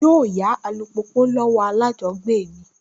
Yóò yá alùpùpù lọ́wọ́ alájọbágbé mi